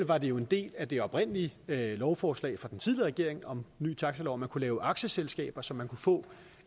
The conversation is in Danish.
var det jo en del af det oprindelige lovforslag fra den tidligere regering om en ny taxalov at man kunne lave aktieselskaber så man kunne få